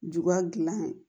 Juba dilan